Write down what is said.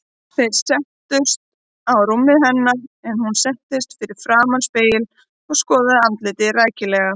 Þeir settust á rúmið hennar en hún settist fyrir framan spegil og skoðaði andlitið rækilega.